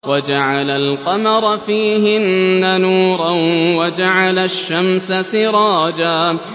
وَجَعَلَ الْقَمَرَ فِيهِنَّ نُورًا وَجَعَلَ الشَّمْسَ سِرَاجًا